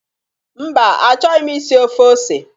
Mba, achọghị m isi ofe ose